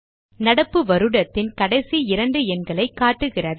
நடப்பு வருடத்தின் கடைசி இரண்டு எண்களை காட்டுகிறது